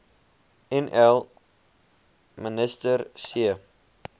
nl minister c